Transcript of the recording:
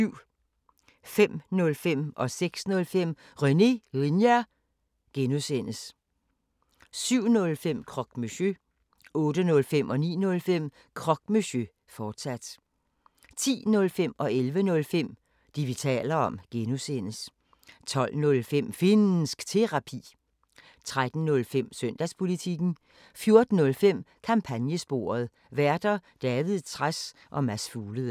05:05: René Linjer (G) 06:05: René Linjer (G) 07:05: Croque Monsieur 08:05: Croque Monsieur, fortsat 09:05: Croque Monsieur, fortsat 10:05: Det, vi taler om (G) 11:05: Det, vi taler om (G) 12:05: Finnsk Terapi 13:05: Søndagspolitikken 14:05: Kampagnesporet: Værter: David Trads og Mads Fuglede